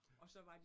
Ja